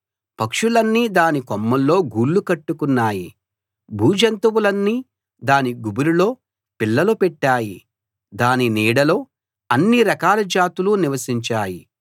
పక్షులన్నీ దాని కొమ్మల్లో గూళ్లు కట్టుకున్నాయి భూజంతువులన్నీ దాని గుబురులో పిల్లలు పెట్టాయి దాని నీడలో అన్ని రకాల జాతులు నివసించాయి